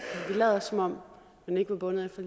lader som om man ikke var bundet af